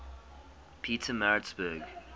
pietermaritzburg